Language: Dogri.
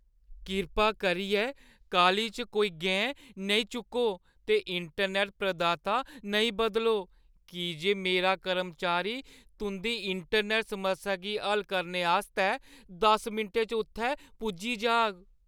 कृपा करियै काह्‌ली च कोई गैं नेईं चुक्को ते इंटरनैट्ट प्रदाता नेईं बदलो की जे मेरा कर्मचारी तुंʼदी इंटरनैट्ट समस्या गी हल करने आस्तै दस्सें मिंटें च उत्थै पुज्जी जाह्‌ग।